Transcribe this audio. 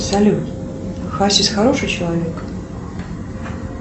салют хасис хороший человек